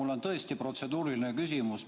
Mul on tõesti protseduuriline küsimus.